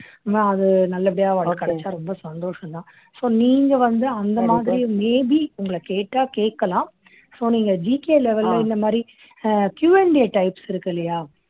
அது நல்லபடியா அவளுக்கு கிடைச்சா ரொம்ப சந்தோசம்தான் so நீங்க வந்து அந்த மாதிரி may be உங்களை கேட்டா கேட்கலாம் so நீங்க GKlevel ல இந்த மாதிரி ah Q and A types இருக்கு இல்லையா